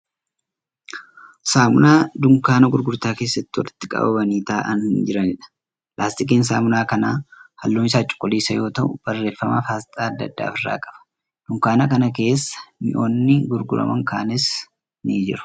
Saamunaa dunkaana gurgurtaa keessatti walitti qabamanii ta'aa jiraniidha. Laastikiin saamunaa kanaa halluun isaa cuquliisa yoo ta'u barreeffamaa fi asxaa adda addaa ofi irraa qaba. Dunkaana kana keessa mi'ootni gurguraman kaanisa jiru.